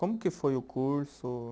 Como que foi o curso?